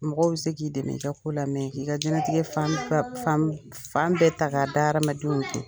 Mɔgɔw be se k'i dɛmɛ i ka ko la k'i ka diɲɛnatigɛ fan ba fan b fan bɛ ta k'a da hadamadenw kun.